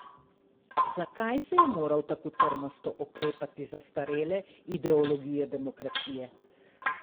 Zakaj se je moral tako trmasto oklepati zastarele ideologije demokracije?